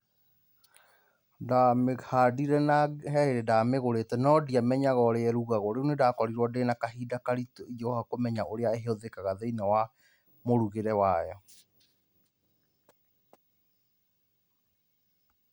Ndamĩhandire na he hĩndĩ ndamĩgũrĩte no ndiamenyaga ũrĩa irugagwo, rĩu nĩndakorirwo ndĩna kahinda karitũ ingĩgoka kũmenya ũrĩa ĩhũthĩkaga thĩ-inĩ wa mũrugĩre wayo